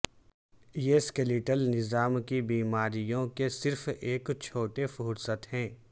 یہ سکیلیٹل نظام کی بیماریوں کے صرف ایک چھوٹے فہرست ہے